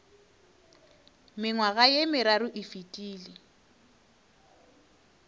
mengwaga ye meraro e fetile